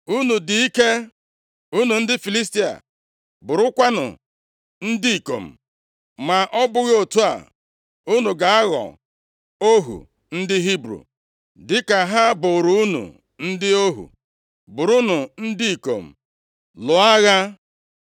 Unu dị ike, unu ndị Filistia, bụrụkwanụ ndị ikom, ma ọ bụghị otu a, unu ga-aghọ ohu ndị Hibru dịka ha bụụrụ unu ndị ohu. Bụrụnụ ndị ikom, lụọ agha!”